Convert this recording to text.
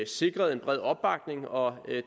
sikret en bred opbakning og